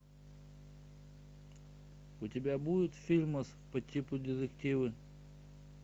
у тебя будет фильмас по типу детективы